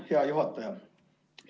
Hea juhataja!